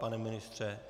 Pane ministře?